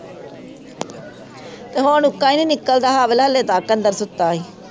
ਅਤੇ ਹੁਣ ਉੱਕਾ ਹੀ ਨਿਕਲਦਾ ਅਗਲਾ ਹਾਲੇ ਤੱਕ ਅੰਦਰ ਸੁੱਤਾ ਸੀ